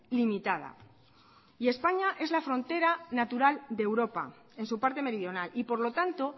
limitada y españa es la frontera natural de europa en su parte meridional y por lo tanto